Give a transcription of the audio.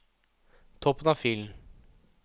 Toppen av filen